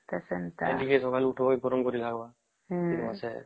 ସେଟା ଟିକେ ସକାଳୁ ଉଠିବା ଗରମ କରିକି ଖାଇବା ଶୀତ ମାସେ